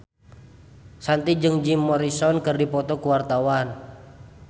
Shanti jeung Jim Morrison keur dipoto ku wartawan